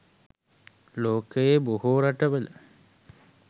ලොකයේ බොහෝ රටවල